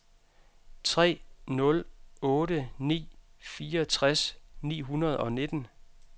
tre nul otte ni fireogtres ni hundrede og nitten